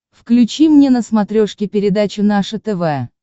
включи мне на смотрешке передачу наше тв